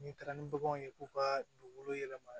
N'i taara ni baganw ye k'u ka dugukolo yɛlɛma